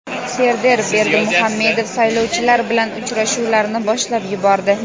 Serdar Berdimuhamedov saylovchilar bilan uchrashuvlarni boshlab yubordi.